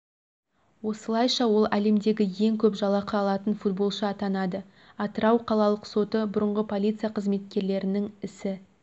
осылайша ол әлемдегі ең көп жалақы алатын футболшы атанады атырау қалалық соты бұрынғы полиция қызметкерлерінің ісі